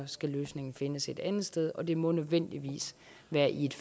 skal løsningen findes et andet sted og det må nødvendigvis være i et